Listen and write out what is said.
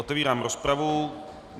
Otevírám rozpravu.